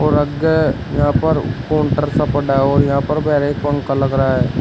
और आगे यहां पर काउंटर सा बना है और यहां पर पंखा लग रहा है।